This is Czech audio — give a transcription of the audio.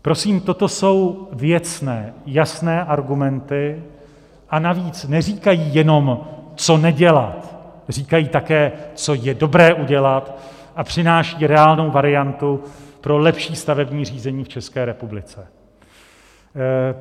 Prosím, toto jsou věcné jasné argumenty, a navíc neříkají jenom, co nedělat, říkají také, co je dobré udělat, a přináší reálnou variantu pro lepší stavební řízení v České republice.